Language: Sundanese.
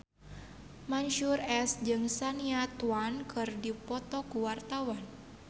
Mansyur S jeung Shania Twain keur dipoto ku wartawan